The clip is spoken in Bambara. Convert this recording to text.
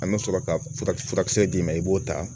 An bɛ sɔrɔ ka furakisɛ d'i ma i b'o ta